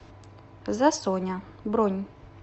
засоня бронь